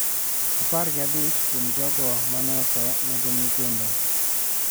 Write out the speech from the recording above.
Apar gi abich kuom jogo ma ne otho ne gin nyithindo.